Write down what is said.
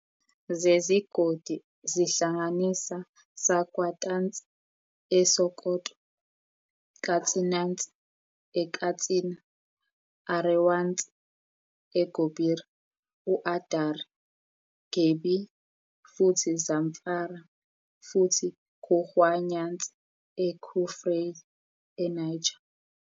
zezigodi zihlanganisa "Sakkwatanci" e Sokoto, "Katsinanci" e Katsina, "Arewanci" e Gobir, uAdari, Kebbi, futhi Zamfara, futhi "Kurhwayanci" e Kurfey eNiger.